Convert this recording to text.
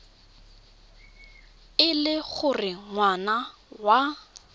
e le gore ngwana wa